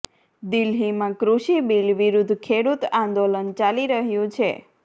દિલ્હીમાં કૃષિ બીલ વિરૃધ્ધ ખેડૂત આંદોલન ચાલી રહ્યું છે